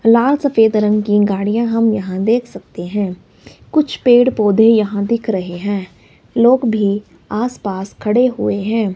लाल सफेद रंग की गाड़ियां हम यहां देख सकते है कुछ पेड़ पौधे यहां दिख रहे हैं लोग भी आसपास खड़े हुए हैं।